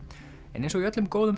en eins og í öllum góðum